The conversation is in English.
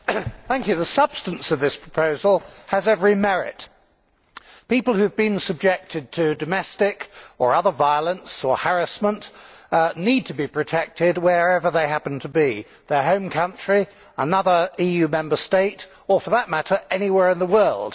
Madam President, the substance of this proposal has every merit. People who have been subjected to domestic or other violence or harassment need to be protected wherever they happen to be their home country, another EU Member State or, for that matter, anywhere in the world.